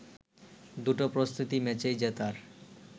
দুটো প্রস্তুতি ম্যাচেই জেতার